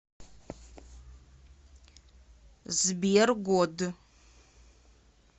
сбер год